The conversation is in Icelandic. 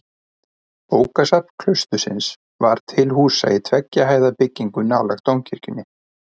Bókasafn klaustursins var til húsa í tveggja hæða byggingu nálægt dómkirkjunni.